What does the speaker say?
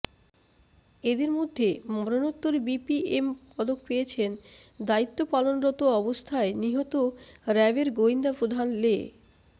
এদের মধ্যে মরণোত্তর বিপিএম পদক পেয়েছেন দায়িত্ব পালনরত অবস্থায় নিহত র্যাবের গোয়েন্দা প্রধান লে